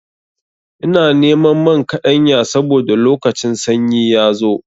Ina neman man kaɗanya saboda lokacin sanyi ya zo.